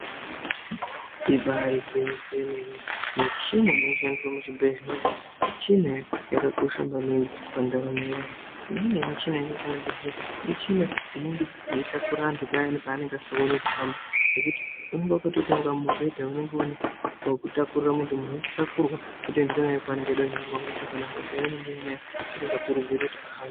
Ibarigwwinyiso yemene michina inoshandiswa muzvibhedhleya michina yakakosha maningi pandaramo yevantu. Imweni yemichina inoshandiswa muzvibhedhleya michina inenge yeitakura vantu payani pavanenge vasingagoni kuhamba. Ngekuti unonga vakatoita kunga mubhedha unonge une pekutakurira muntu muntu ototakurwa otoendwa naye kwaanenge eida kuendwa naye kana hosha yaanenge anayo isingakurudzirwi kuti ahambe.